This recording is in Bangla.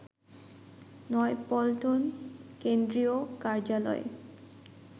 নয়াপল্টন কেন্দ্রীয় কার্যালয়ে